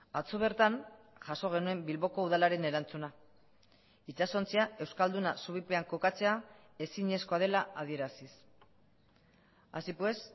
atzo bertan jaso genuen bilboko udalaren erantzuna itsasontzia euskalduna zubipean kokatzea ezinezkoa dela adieraziz así pues